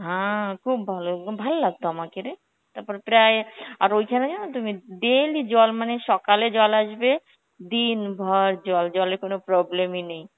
হ্যাঁ খুব ভালো, ওম ভাল লাগত আমাকেরে, তারপর প্রায়, আর ওইখানে জানো তো মেদ~ daily জল মানে সকালে জল আসবে, দিনভর জল, জলে কোন problem ই নেই,